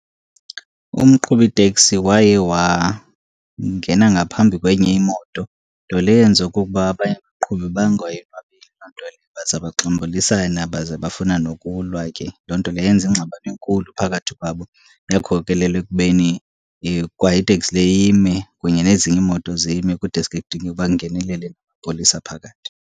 Umqhubi teksi waye wangena ngaphambi kwenye imoto, nto leyo yenza okokuba abanye abaqhubi bangayonwabeli loo nto leyo baza baxambulisana, baze bafuna nokulwa ke. Loo nto leyo yenza ingxabano enkulu phakathi kwabo, yakhokelela ekubeni kwa iteksi le ime kunye nezinye iimoto zime kudeske kudingeke uba kungenelele amapolisa phakathi.